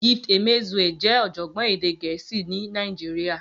Gift Emezue jẹ́ ọ̀jọ̀gbọ́n èdè Gẹ̀ẹ́sì ní Nàìjíríà.